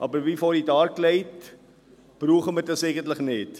Aber wie vorhin dargelegt, brauchen wir das eigentlich nicht.